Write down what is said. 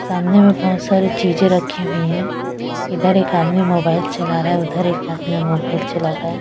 सामने में बहुत सारी चीज़ें रखी हुई हैं इधर एक आदमी मोबाइल चला रहा है उधर एक आदमी मोबाइल चला रहा है।